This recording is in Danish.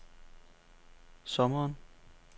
sommeren